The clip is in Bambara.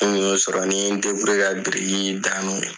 Ni n un y'o sɔrɔ ni n ye n ka biriki da n'o ye